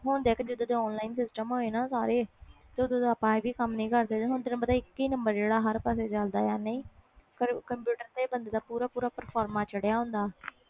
ਹੁਣ ਦੇਖ ਜਦੋ ਦੇ online system ਹੋਏ ਆ ਸਾਰੇ ਓਹਦਾ ਦਾ ਹੁਣ ਇਹ ਵੀ ਕਮ ਨਹੀਂ ਕਰਦੇ ਹੁਣ ਇਕ ਹੀ ਨੰਬਰ ਚਲਦਾ ਕੰਪਿਊਟਰ ਤੇ ਬੰਦੇ ਦਾ ਪੂਰਾ ਪ੍ਰਫੋਰਮਾ ਚੜਿਆ ਹੁੰਦਾ ਆ